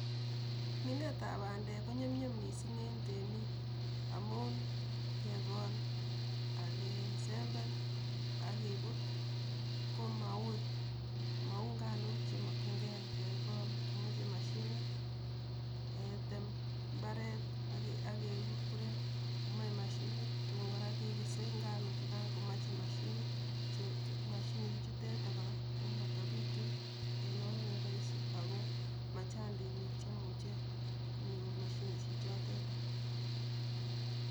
Minetab bandek ko nyumnyum mising en temiik amun kekol ak kesember ak keput komauui mau nganok chemakchinkei kekol komachei mashinit, ketem imbaret ake kurkuren komae mashinit, tuun kora kekesei nganokchukai komachei mashinetechuteit kora komatapitu en oret neraisi ako machang biik che imuche konyor mashinishechotetok.